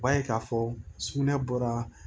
U b'a ye k'a fɔ sugunɛ bɔra